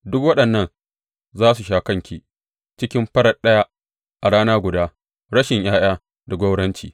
Duk waɗannan za su sha kanki cikin farat ɗaya, a rana guda, rashin ’ya’ya da gwauranci.